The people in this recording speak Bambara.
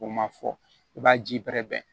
O ma fɔ i b'a ji bɛrɛ bɛn